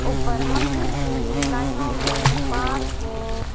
ऊपर मंदिर के लाइनों में पाठ के--